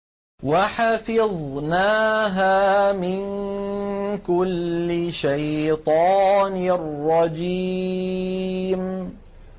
وَحَفِظْنَاهَا مِن كُلِّ شَيْطَانٍ رَّجِيمٍ